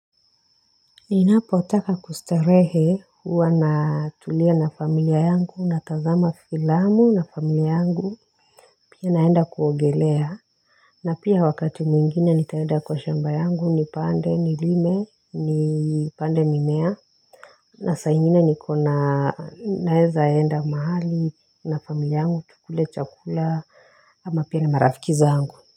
Ninapo utaka kustarehe huwa na tulia na familia yangu na tazama filamu na familia yangu pia naenda kuogelea na pia wakati mwingine nitaenda kwa shamba yangu ni pande ni lime ni pande mimea na saingine nikona naezaenda mahali na familia yangu tukule chakula ama pia na marafiki zangu.